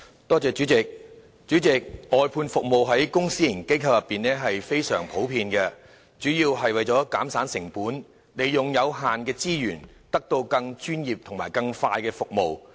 代理主席，外判服務在公私營機構中非常普遍，主要是為了減省成本，利用有限的資源，以獲得更專業及快速的服務。